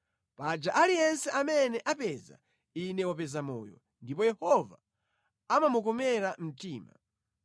Paja aliyense amene apeza ine wapeza moyo ndipo Yehova amamukomera mtima.